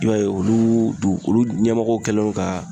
I b'a ye olu ɲɛmɔgɔ kɛlen don ka